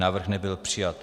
Návrh nebyl přijat.